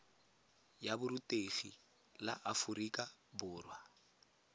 ya borutegi la aforika borwa